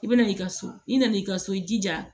I bɛna i ka so i nan'i ka so i jija